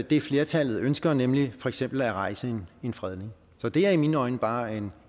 det flertallet ønsker nemlig for eksempel at rejse en fredningssag så det er i mine øjne bare en